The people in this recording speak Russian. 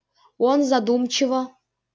он задумчиво